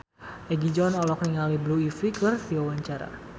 Egi John olohok ningali Blue Ivy keur diwawancara